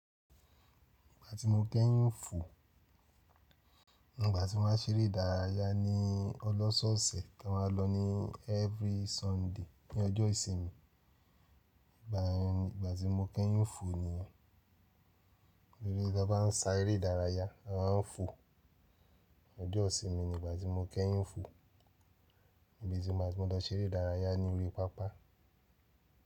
Ìgbà tí mo kẹ́yìn fò, ìgbà tí man á ṣeré ìdárayá ní ọlọ́ṣọ̀ọ̀sẹ̀ tí mo mán lọ ní every Sunday ní ọjọ́ ìsinmi. Ìgbà yẹn ni, ìgbà tí mo kẹ́yìn fò ni yẹn. Tórí tí a bá ń ṣa eré ìdárayá, a máa ń fò. Ọjọ́ ìsinmi ni ìgbà tí mo kẹ́yìn fò. Bí ti won bá fe ṣeré ìdárayá ní orí pápá.